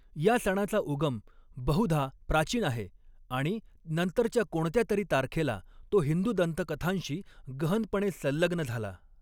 या सणाचा उगम बहुधा प्राचीन आहे आणि नंतरच्या कोणत्यातरी तारखेला तो हिंदू दंतकथांशी गहनपणे संलग्न झाला.